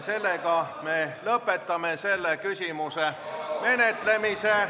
Sellega me lõpetame selle küsimuse menetlemise.